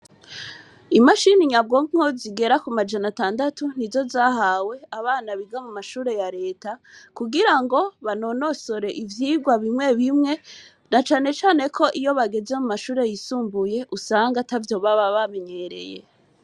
Imashini nyabwonko zigera ku majana atandatu, ni zo zahawe abana biga mu mashure ya leta, kugira ngo banonosore ivyigwa bimwe bimwe, na cane cane ko iyo bageze mu mashure yisumbuye, usanga atavyo baba bamenyereye.